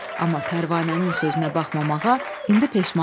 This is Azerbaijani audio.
Amma Pərvanənin sözünə baxmamağa indi peşman oldu.